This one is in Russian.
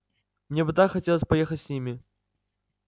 мне бы так хотелось поехать с ними